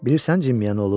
Bilirəm kim olub?